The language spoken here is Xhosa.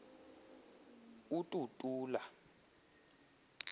ututula